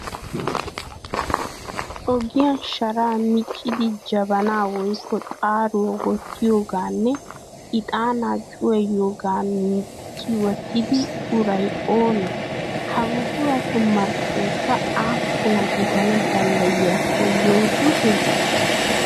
Ogiyan sharaa miccidi jabanaa woyikko xaaruwa wottiyoganne ixaanaa cuwayiyoogaa micci wottida uray oonee? Ha buquratu marccoyikka appuna gidana danddayiyakko yootite?